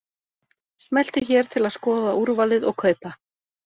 Smelltu hér til að skoða úrvalið og kaupa.